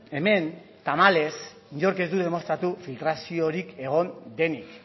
hemen tamalez inork ez du demostratu filtraziorik egon denik